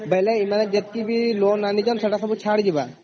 ବାଇଲେ ଯେତକି ବି loan ଆଣିଛନ୍ତି ସେଗୁଡ଼ା ଛାଡ଼ ଯିବା ?